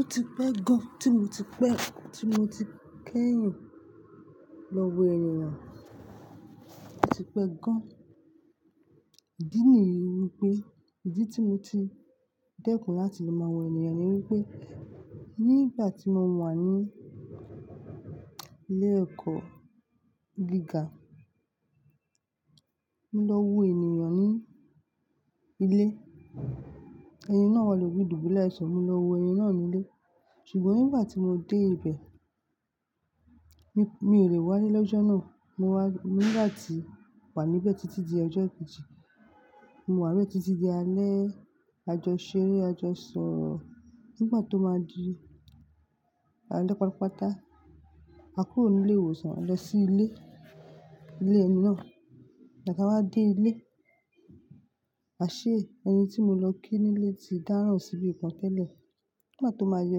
Ó ti pẹ́ gan tí mo ti pẹ́, tí mo ti kẹ́yìn lọ wo ènìyàn, ó ti pẹ́ gan. Ìdí nìyí wípé ìdí tí mo ti dẹ́kun láti lo máa wo ènìyàn ni wípé nígbà tí mo wà ní ilé ẹ̀kọ́ gíga, mo lọ wo ènìyàn ní ilé. Ẹni náà wà lórí dùbúle áìsan mo lọ wo ẹni náà nílé. Ṣùgbọ́n nígbà tí mo dé ibẹ̀, mi, mi ò lẹ̀ wá ílẹ̀ loọjọ́ náà, mo wá, mo nígbà tí mo wà níbẹ̀ títí di ọjọ́ kejì, mo wà níbẹ̀ títí di alẹ́ àjọṣeré, àjọṣọro nígbà tó máa di alẹ́ pátápátá, a kúrò ní ilé ìwòsàn a lọ sí ilé, ilé ẹni náà. Bí a bá dé ilé, àṣé, ẹni tí mo lọ kí nílé ti dáràn sí ibi kan tẹ́lẹ̀. Nígbà tó máa di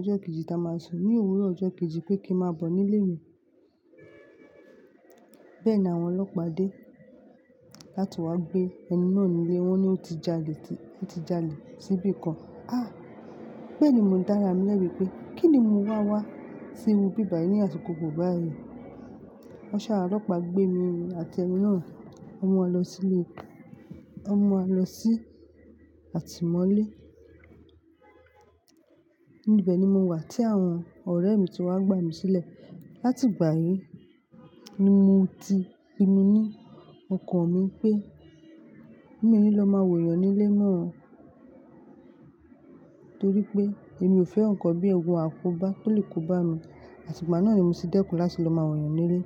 ọjọ́ kejì tí a máa sùn, ní òwúrọ̀ ọjọ́ kejì pé kí n máa bọ̀ nílé mi, bẹ́ẹ̀ ni àwọn ọlọ́pàá dé láti wá gbé ẹni náà nílé, wọ́n ní ó ti jalè, ó ti jalè sí ibi kan. Ah! Bẹ́ẹ̀ ni mò ń dára mi lẹ́bi pé kín ni mo wá wá sí iru bi báyìí ní àsìkò gbo báyìí. Wọ́n ṣa ọlọ́pàá gbé mi àti ẹni náà, wọ́n mú wa lọ sílé, wọ́n mú wa lọ sí àtìmọ́lé. Ní ibẹ̀ ni mo wà tí àwọn ọ̀rẹ́ mi ti wá gbà mí sílẹ̀. Láti ìgbà yìí ni mo ti pinu ní ọkàn mi pé mí ò ní lọ máa wo yàn nílé mọ́, torí pé èmi ò fẹ́ nǹkan bíi ogun àkóbá tó lè kó bá mi, àtìpá náà ni mo ti dẹ́kun láti lọ máa wo yàn nílé.